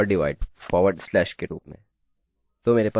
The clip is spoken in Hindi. तो मेरे पास दो वेरिएबल्स होंगे